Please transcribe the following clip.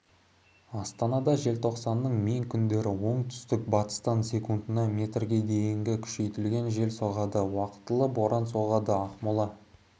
астанада желтоқсанның мен күндері оңтүстік батыстан секундына метрге дейін күшейтілген жел соғады уақытылы боран соғады ақмола